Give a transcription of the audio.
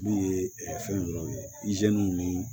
N'u ye fɛn dɔw ye ni